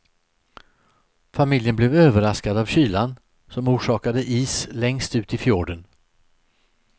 Familjen blev överraskad av kylan, som orsakade is längst ut i fjorden.